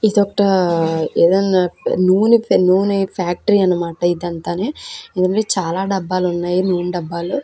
ఇది ఒక ఏదైనా నూనే నూనే ఫ్యాకటరీ అన్నమాట ఇవన్నీ చాలా దబ్బలు ఉన్నాయి నూనె దబ్బలు ఉన్నాయి.